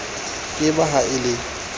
ke ba ha e le